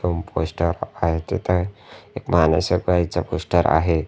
Room poster आहेत तिथं एक माणूस एक बाईचा पोस्टर आहे.